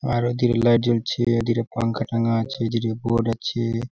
আরও দিকে লাইট জলছে এই দিকে পাংখা টাঙ্গা আছে এইদিকে বোর্ড আছে ।